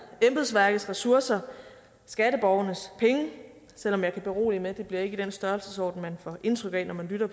embedsværkets ressourcer og skatteborgernes penge selv om jeg kan berolige med at det ikke bliver i den størrelsesorden man får indtryk af når man lytter